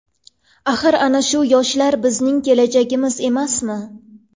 Axir ana shu yoshlar bizning kelajagimiz emasmi?